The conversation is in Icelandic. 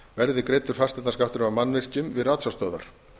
verði greiddur fasteignaskattur af mannvirkjum við ratsjárstöðvar